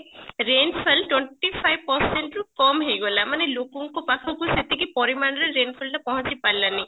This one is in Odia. rain fall twenty five percent ରୁ କମ ହେଇଗଲା ମାନେ ଲୋକଙ୍କ ପାଖକୁ ସେତିକି ପରିମାଣରେ rain fall ଟା ପହଞ୍ଚି ପାରିଲାନି